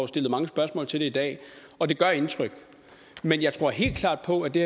stillet mange spørgsmål til det i dag og det gør indtryk men jeg tror helt klart på at det